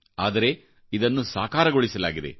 ಆದರೆ ಇದನ್ನು ಸಾಕಾರಗೊಳಿಸಲಾಗಿದೆ